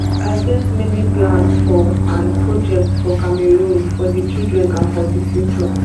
i get many plans for and projects for cameroon for di children and for di future